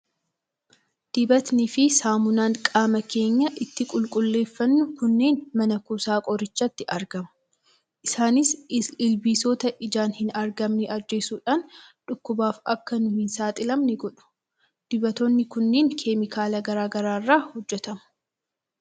Dibatnii fi saamunaan qaama keenya ittiin qulqulleeffannu kunneen mana kuusaa qorichaatti argamu. Isaanis ilbiisota ijaan hin argamne ajjeesuudhaan dhukkubaaf akka nuyi hin saaxilamne godhu. Dibatoonni kun keemikaala garaa garaa irraa hojjetamu.